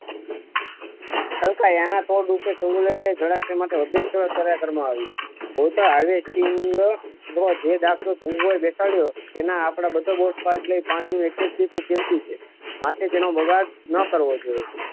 છલ્કાય એના તોડ રૂપી જલાસાય માંથી હજી એક સેવા કર્મો આવી જાત ખોટા આવેશ થી તમારે જે દાસ તે જમવું હોય બેસાડી દો તેને આપણે બધા બોટ લઈ જઈને પાસે પાણીનું એક એક ટીમ્પુ કેમ થી છે માટે તેનો બગાડ ના કરવો જોઈએ.